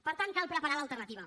per tant cal preparar l’alternativa